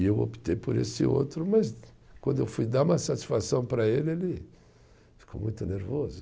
E eu optei por esse outro, mas quando eu fui dar uma satisfação para ele, ele ficou muito nervoso.